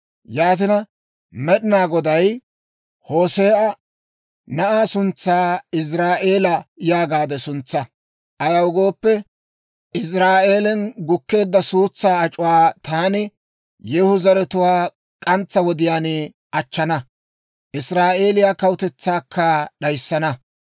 Yaatina, Med'inaa Goday Hoose'a, «Na'aa suntsaa ‹Iziraa'eela› yaagaade suntsaa. Ayaw gooppe, Iziraa'eelen gukkeedda suutsaa ac'uwaa taani Yeehu zaratuwaa k'antsaa wodiyaan achchana; Israa'eeliyaa kawutetsaakka d'ayissana.